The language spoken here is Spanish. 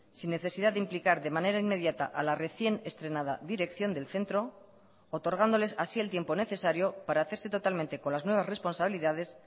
sin necesidad de implicar de manera inmediata a la recién estrenada dirección del centro otorgándoles así el tiempo necesario para hacerse totalmente con las nuevas responsabilidades